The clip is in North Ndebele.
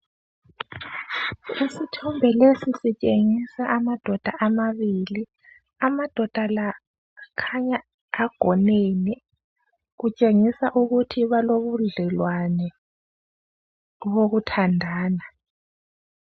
Isithombe lesi sitshengisa amadoda amabili, amadoda la akhanya agonene kutshengisa ukuthi balobu dlelwano obokuthandana.